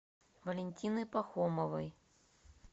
валентины пахомовой